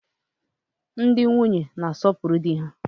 Ndị nwunye na-asopuru di ha.